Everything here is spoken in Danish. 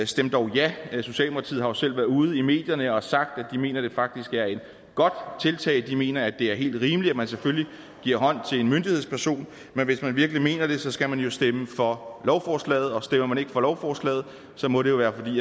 stem dog ja socialdemokratiet har jo selv været ude i medierne og har sagt at de mener at det faktisk er et godt tiltag de mener at det er helt rimeligt at man selvfølgelig giver hånd til en myndighedsperson men hvis man virkelig mener det skal man jo stemme for lovforslaget og stemmer man ikke for lovforslaget må det jo være fordi